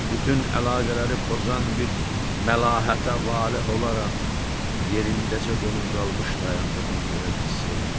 Bütün əlaqələri pozan bir məlahətə valeh olaraq yerindəcə donub qalmış dayandığını görə bilsəydi.